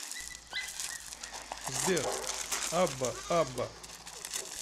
сбер абба абба